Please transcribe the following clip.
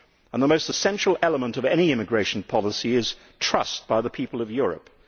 The most essential element of any immigration policy is trust by the people of Europe.